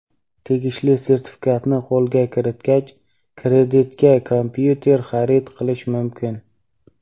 tegishli sertifikatni qo‘lga kiritgach kreditga kompyuter xarid qilish mumkin.